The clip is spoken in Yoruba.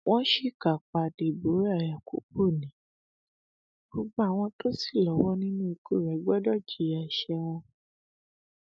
wọn ṣìkà pa deborah yakubu ni gbogbo àwọn tó ṣì lọwọ nínú ikú rẹ gbọdọ jìyà ẹṣẹ wọn